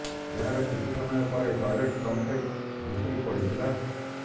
ଏହାର କିଛି ସମୟ ପରେ ଟଏଲେଟ୍ କମ୍ପ୍ଲେକ୍ସ ଭୁଶୁଡ଼ି ପଡ଼ିଥିଲା